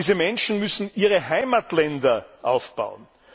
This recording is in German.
Diese Menschen müssen ihre Heimatländer aufbauen!